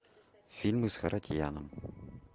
фильмы с харатьяном